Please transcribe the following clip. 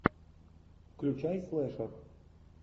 включай слэшер